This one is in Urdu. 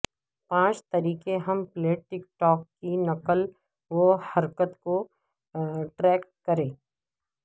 پانچ طریقے ہم پلیٹ ٹیکٹٹوک کی نقل و حرکت کو ٹریک کریں